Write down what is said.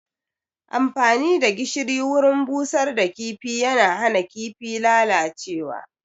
Amfani da gishiri wurin busar da kifi yana hana kifin lalacewa